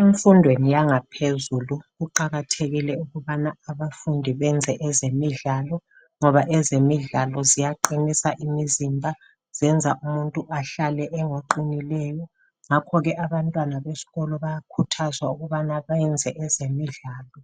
Emfundweni yangaphezulu kuqakathekile ukubana abafundi benze ezemidlalo ngoba ezemidlalo ziyaqinisa imizimba, zenza umuntu ahlale engoqinileyo. Ngakho ke abantwana besikolo bayakhuthazwa ukubana benze ezemidlalo